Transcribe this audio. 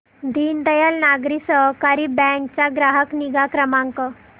दीनदयाल नागरी सहकारी बँक चा ग्राहक निगा क्रमांक